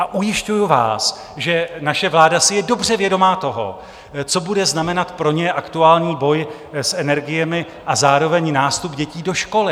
A ujišťuji vás, že naše vláda si je dobře vědoma toho, co bude znamenat pro ně aktuální boj s energiemi a zároveň nástup dětí do školy.